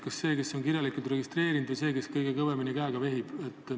Kas sellel, kes on kirjalikult registreerunud, või sellel, kes kõige kõvemini käega vehib?